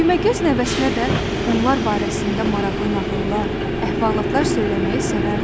Düyməgöz nəvəsinə də onlar barəsində maraqlı nağıllar, əhvalatlar söyləməyi sevərdi.